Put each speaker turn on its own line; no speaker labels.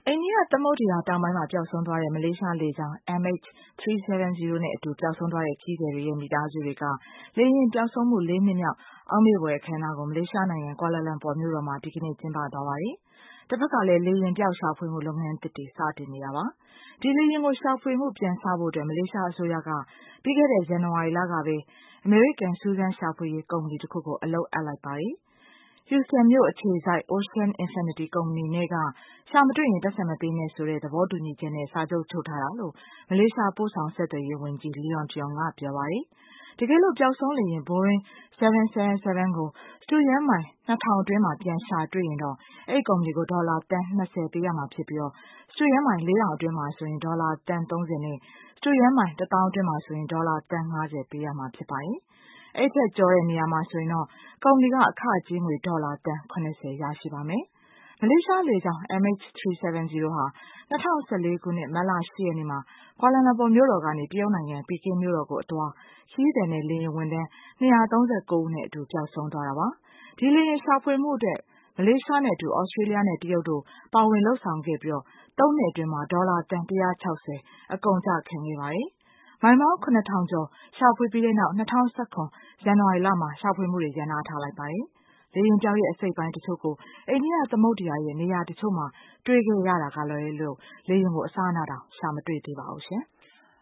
အိန္ဒိယသမုဒ္ဒရာ တောင်ပိုင်းမှာ ပျောက်ဆုံးသွားတဲ့ မလေးရှားလေကြောင်း MH370 နဲ့ အတူ ပျောက်ဆုံးသွားတဲ့ ခရီးသည်တွေရဲ့ မိသားစုတွေက လေယာဉ်ပျောက်ဆုံးမှု ၄ နှစ်မြောက် အောက်မေ့ဖွယ်အခမ်းအနားကို မလေးရှားနိုင်ငံ Kuala Lumpur ဒီကနေ့ ကျင်းပသွားပါတယ်။ တဘက်ကလည်း လေယာဉ်ပျောက်ရှာဖွေမှုလုပ်ငန်းသစ်တွေ စတင်နေတာပါ။ ဒီလေယာဉ်ကို ရှာဖွေမှု ပြန်စဖို့ မလေးရှားအစိုးရက ပြီးခဲ့တဲ့ ဇန်နဝါရီလကပဲ အမေရိကန် စူးစမ်းရှာဖွေရေးကုမ္ပဏီတခုကို အလုပ်အပ်လိုက်တာပါ။ Houston မြို့အခြေစိုက် Ocean Infinity ကုမ္ပဏီနဲ့ က ရှာမတွေ့ရင် ပိုက်ဆံမပေးနဲ့ ဆိုတဲ့ သဘောတူညီချက်နဲ့ စာချုပ်ချုပ်ထားတာလို့ မလေးရှား ပို့ဆောင် ဆက်သွယ်ရေးဝန်ကြီး Liow Tiong က ပြောပါတယ်။ တကယ်လို့ ပျောက်ဆုံးလေယာဉ် Boeing 777 ကိုစတုရန်းမိုင်၂၀၀၀ အတွင်း ပြန်ရှာတွေ့ရင်တော့ အဲဒီကုမ္ပဏီကို ဒေါ်လာ သန်း ၂၀ ပေးမှာ ဖြစ်ပြီး စတုရန်းမိုင် ၄၀၀၀ အတွင်းမှာဆို ဒေါ်လာ သန်း ၃၀ နဲ့ စတုရန်းမိုင် တသောင်းအတွင်း မှာဆို ဒေါ်လာ သန်း ၅၀ ပေးမှာ ဖြစ်ပါတယ်။ အဲဒီထက် ကျော်တဲ့ နေရာမှာဆိုရင်တော့ ကုမ္ပဏီက အခကြေးငွေ ဒေါ်လာ သန်း ၇၀ ရရှိပါမယ်။ မလေးရှားလေကြောင်း MH370 ဟာ ၂၀၁၄ ခုနှစ် မတ်လ ၈ ရက်နေ့မှာ Kuala Lumpur မြို့တော်ကနေ တရုတ်နိုင်ငံ ပီကင်းမြို့တော်ကိုအသွား ခရီးသည်နဲ့ လေယာဉ်ဝန်ထမ်း ၂၃၉ ဦးနဲ့အတူ ပျောက်ဆုံးသွားတာပါ။ ဒီလေယာဉ်ရှာဖွေမှုအတွက် မလေးရှားနဲ့အတူ Australia နဲ့ တရုတ်တို့ ပါဝင်လုပ်ဆောင်ခဲ့ပြီး ၃ နှစ်အတွင်း ဒေါ်လာသန်း ၁၆၀ အကုန်အကျခံခဲ့ပါတယ်။ မိုင်ပေါင်း ၇ ထောင်ကျော် ရှာဖွေပြီးနောက် ၂၀၁၇ ဇန်နဝါရီ မှာ ရပ်နားလိုက်ပါတယ်။ လေယာဉ်ပျောက်ရဲ့ အစိတ်အပိုင်းတချို့ကို အိန္ဒိယသမုဒ္ဒရာရဲ့ နေရာတချို့မှာ တွေ့ခဲ့ရတာကလွဲလို့ လေယာဉ်ကို အစအနတောင် ရှာမတွေ့ပါဘူးရှင်။